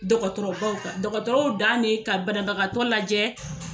Dɔgɔtɔrɔ baw ta, dɔgɔtɔrɔ dan ye ka banabagakatɔ lajɛ